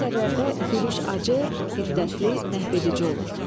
Belə əsərlərdə gülüş acı, hiddətli, məhvedici olur.